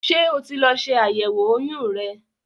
Ṣé o ti lọ ṣe àyẹ̀wò oyún rẹ?